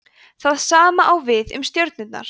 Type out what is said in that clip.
það sama á við um stjörnurnar